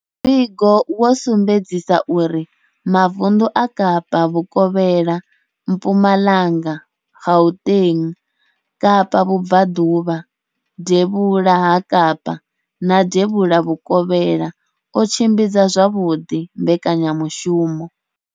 Muvhigo wo sumbedzisa uri mavundu a Kapa Vhukovhela, Mpumalanga, Gauteng, Kapa Vhubva ḓuvha, Devhula ha Kapa na Devhula Vhukovhela o tshimbidza zwavhuḓi mbekanya mushumo.